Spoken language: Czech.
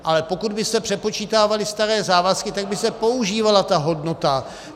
Ale pokud by se přepočítávaly staré závazky, tak by se používala ta hodnota.